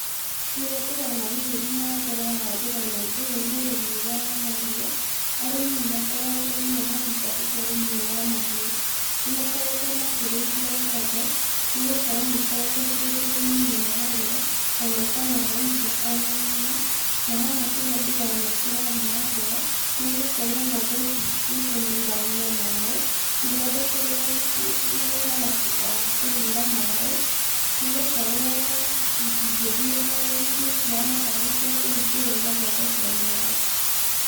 Kĩrĩa ndĩrona gĩgĩthiĩ na mbera haha ndĩrona ũyũ nĩ ũrĩmi ũrĩa wa mahiũ, arĩmĩ nĩ makoretwo mũno mathingatĩte ũrĩmi ũyũ wa mahiũ. Nĩ makoretwo makĩrĩithia ng'ombe, nĩ gũkorwo nĩ ikoretwoc irĩ kĩguni mũno harĩo, ona ĩkamahe iriia ona nyama, na haha kĩrĩa ndĩrona kĩrathiĩ na mbere nĩ gũkorwo ng'ombe ici nĩ kũnywa iranywa maĩ, cithondekeirwo mũharatĩ wa kũywira maĩ, nĩ gũkorwo citingĩthiĩ rũru-ini cihana tarĩ cia kũhingĩrwo cigathondekerwo mũharatĩ.